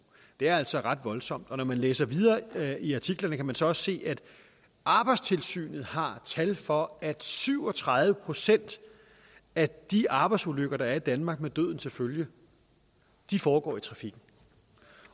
det er altså ret voldsomt og når man læser videre i artiklerne kan man så også se at arbejdstilsynet har tal for at syv og tredive procent af de arbejdsulykker der er i danmark med døden til følge foregår i trafikken